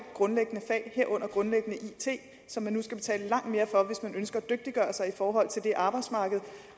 grundlæggende fag herunder grundlæggende it som man skal betale langt mere for hvis man ønsker at dygtiggøre sig i forhold til det arbejdsmarked